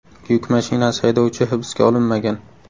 Yuk mashinasi haydovchi hibsga olinmagan.